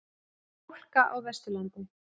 Það er hálka á Vesturlandi